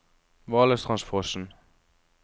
Valestrandsfossen